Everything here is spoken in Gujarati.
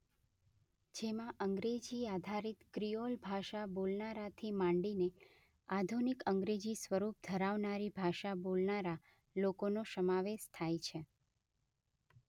જેમાં અંગ્રેજી આધારિત ક્રિઓલ ભાષા બોલનારાથી માંડીને આધુનિક અંગ્રેજી સ્વરૂપ ધરાવનારી ભાષા બોલનારા લોકોનો સમાવેશ થાય છે.